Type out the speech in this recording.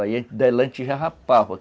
Aí a gente dava lanche e já rapava.